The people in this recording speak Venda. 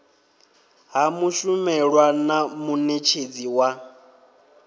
ha mushumelwa na munetshedzi wa